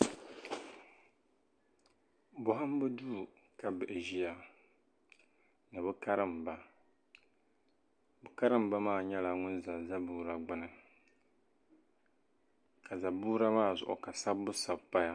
Bɔhimbu duu ka bihi ʒiya ni bɛ karimba bɛ karimba maa nyɛla ŋun za zaboora gbuni ka zaboora maa ka sabbu sabi paya